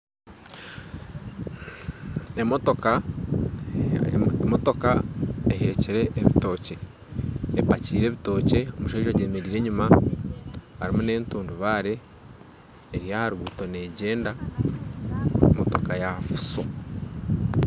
Emotoka, emotoka ehekire ebitookye epakyire ebitookye omushaija agyemereire enyuma harimu n'entundubare eri aha ruguuto negyenda motoka ya fuso